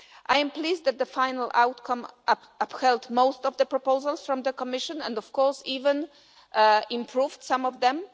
I am pleased that the final outcome upheld most of the proposals from the Commission and, of course, even improved on some of them.